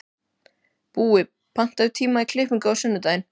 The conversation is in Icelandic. Búi, pantaðu tíma í klippingu á sunnudaginn.